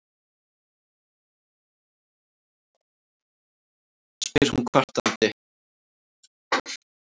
spyr hún kvartandi.